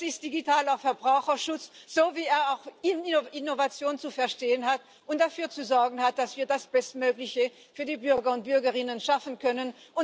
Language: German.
Das ist digitaler Verbraucherschutz so, wie er auch Innovation zu verstehen hat und dafür zu sorgen hat, dass wir das Bestmögliche für die Bürger und Bürgerinnen schaffen können.